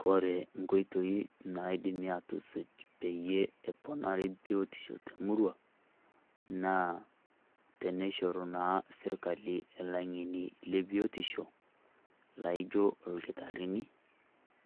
Kore nkoitoi naidimu atusuj peyie eponari biotisho temurua, naa teneishoru naa sirkali ilang'eni le biotisho, laijo ilkitarrini,